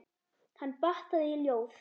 Hann batt það í ljóð.